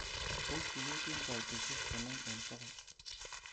pos tuget en koitosiek konom en bogol